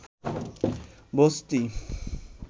বস্তি